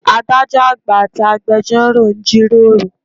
Adájọ́ àgbà àti agbẹjórò ń jí ròrò.